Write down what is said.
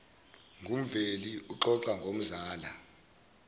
ngumveli uxoxa nomzala